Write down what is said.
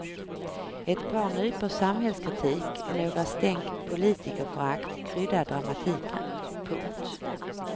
Ett par nypor samhällskritik och några stänk politikerförakt kryddar dramatiken. punkt